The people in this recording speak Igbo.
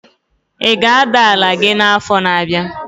Ị ga-ada ala gị n'afọ na-abịa?